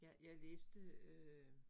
Jeg jeg læste øh